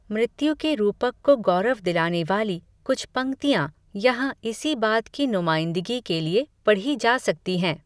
मृत्यु के रूपक को गौरव दिलाने वाली, कुछ पंक्तियाँ, यहाँ इसी बात की नुमाइंदगी के लिए, पढ़ी जा सकती हैं